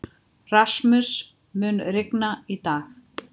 Rasmus, mun rigna í dag?